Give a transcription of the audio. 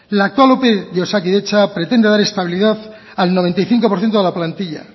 la actual ope de osakidetza pretende dar estabilidad al noventa y cinco por ciento de la plantilla